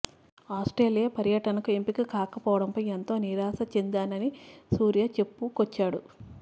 Australia పర్యటనకు ఎంపిక కాకపోవడంపై ఎంతో నిరాశ చెందనని సూర్య చెప్పుకొచ్చాడు